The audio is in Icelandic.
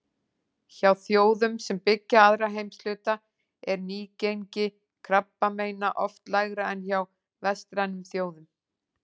Hjá þjóðum sem byggja aðra heimshluta er nýgengi krabbameina oft lægra en hjá vestrænum þjóðum.